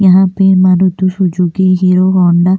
यहा पे Maruti Suzuki Hero Honda --